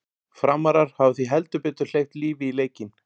Framarar hafa því heldur betur hleypt lífi í leikinn!